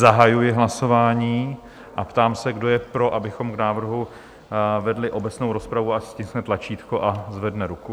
Zahajuji hlasování a ptám se, kdo je pro, abychom k návrhu vedli obecnou rozpravu, ať stiskne tlačítko a zvedne ruku.